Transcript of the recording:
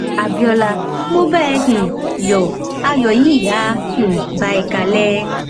abiola mọ bá ẹ um yọ ayọ yìí á um bá ẹ kalẹ